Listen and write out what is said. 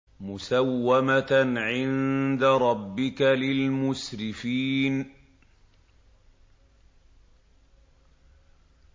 مُّسَوَّمَةً عِندَ رَبِّكَ لِلْمُسْرِفِينَ